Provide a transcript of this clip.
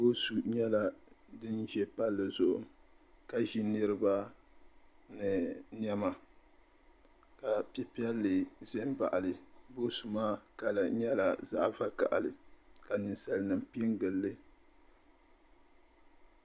Boosu nyɛla dinza Palli zuɣu ka ʒi niriba ni niɛma ka pɛpiɛli ʒi m baɣali boosu maa kala nyela zaɣa vakahali ka ninsalinima piɛ n gilili.